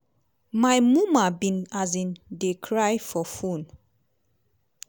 "my muma bin um dey cry for phone.